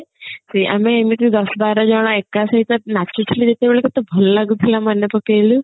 ଆମେ ଏମିତି ଦଶ ବାରଜଣ ଏକ ସହିତ ନାଚୁଥିଲେ ଯେତେବେଳେ କେତେ ଭଲ ଲାଗୁଥିଲା ମନେ ପକେଇଲୁ